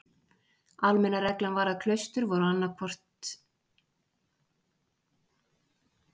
Almenna reglan var að klaustur voru annað tveggja munka- eða nunnuklaustur.